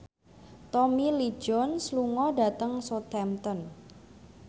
Tommy Lee Jones lunga dhateng Southampton